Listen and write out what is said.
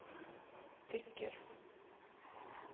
tycker